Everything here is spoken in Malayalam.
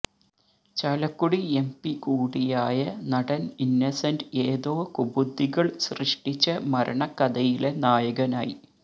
ചാലക്കുടി എംപികൂടിയായ നടന് ഇന്നസന്റ് ഏതോ കുബുദ്ധികള് സൃഷ്ടിച്ച മരണക്കഥയിലെ നായകനായി